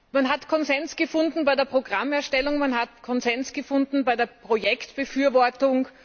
Man hat Konsens gefunden bei der Programmerstellung, man hat Konsens gefunden bei der Projektbefürwortung.